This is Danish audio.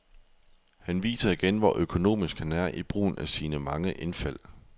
Han viser igen, hvor økonomisk han er i brugen af sine mange indfald.